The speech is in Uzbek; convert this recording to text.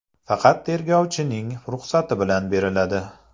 Faqat tergovchining ruxsati bilan beriladi.